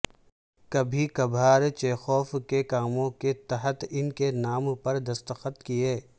کبھی کبھار چیخوف کے کاموں کے تحت ان کے نام پر دستخط کئے